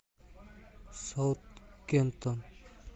саутгемптон